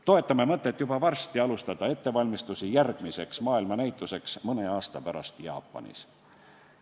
Toetame mõtet juba varsti alustada ettevalmistusi järgmiseks maailmanäituseks, mis toimub mõne aasta pärast Jaapanis.